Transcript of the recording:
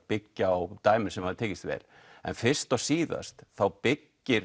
byggja á dæmum sem hafa tekist vel fyrst og síðast byggir